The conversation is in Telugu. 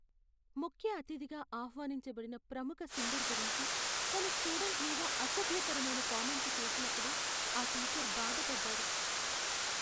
ముఖ్య అతిథిగా ఆహ్వానించబడిన ప్రముఖ సింగర్ గురించి తన స్టూడెంట్ ఏవో అసభ్యకరమైన కామెంట్లు చేసినప్పుడు ఆ టీచర్ బాధపడ్డారు.